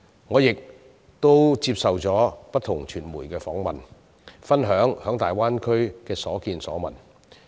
我亦曾接受不同傳媒的訪問，分享在大灣區的所見所聞。